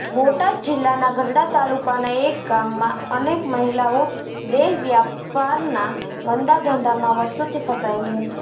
બોટાદ જિલ્લાના ગઢડા તાલુકાના એક ગામમાં અનેક મહિલાઓ દેહવ્યાપારના ગંદા ધંધામાં વર્ષોથી ફસાયેલી હતી